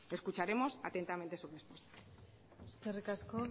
escucharemos atentamente su respuesta eskerrik asko